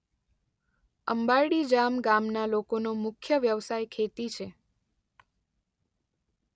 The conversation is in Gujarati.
અંબારડી જામ ગામના લોકોનો મુખ્ય વ્યવસાય ખેતી છે.